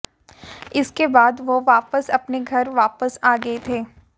इसके बाद वह वापस अपने घर वापस आ गए थे